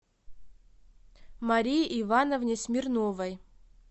марии ивановне смирновой